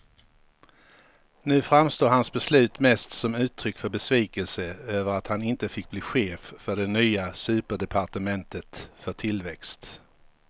Nu framstår hans beslut mest som uttryck för besvikelse över att han inte fick bli chef för det nya superdepartementet för tillväxt.